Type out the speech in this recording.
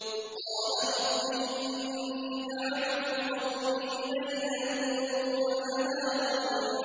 قَالَ رَبِّ إِنِّي دَعَوْتُ قَوْمِي لَيْلًا وَنَهَارًا